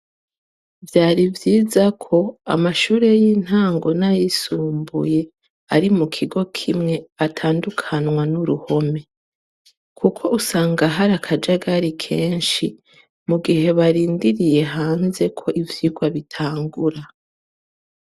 Vyari vyiza ko amashure y'intango n'a yisumbuye ari mu kingo kimwe atandukanwa n'uruhome kuko usanga hari akajagari mugihe barindiririye hanze ko ivyirwa bitangura.